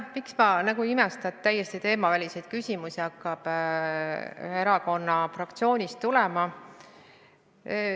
Miks ma nagu ei imesta, et täiesti teemaväliseid küsimusi hakkab ühe erakonna fraktsioonist tulema.